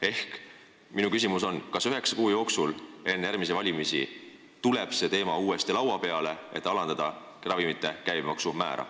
Ehk minu küsimus on selline: kas üheksa kuu jooksul enne järgmisi valimisi tuleb ravimite käibemaksu määra alandamise teema uuesti arutelule?